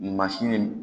Mansini